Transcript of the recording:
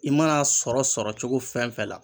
I mana sɔrɔ sɔrɔcogo fɛn fɛn na.